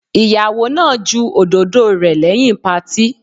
Ìyàwó náà ju òdòdó rẹ̀ lẹ́yìn patí.